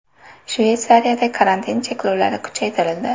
Shveysariyada karantin cheklovlari kuchaytirildi .